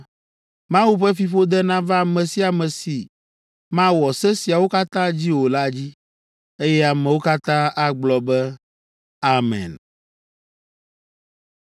“Mawu ƒe fiƒode nava ame sia ame si mawɔ se siawo katã dzi o la dzi.” Eye ameawo katã agblɔ be, “Amen!”